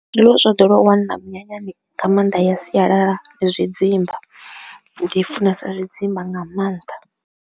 Zwiḽiwa zwa ḓowelaho u wanala minyanyani nga maanḓa ya sialala zwidzimba, ndi funesa zwidzimba nga maanḓa.